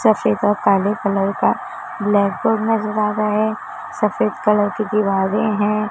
सफेद और काले कलर का ब्लैक बोर्ड नजर आ रहा है सफेद कलर की दीवारें हैं।